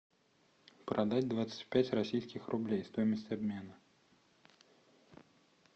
продать двадцать пять российских рублей стоимость обмена